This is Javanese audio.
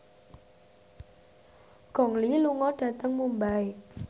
Gong Li lunga dhateng Mumbai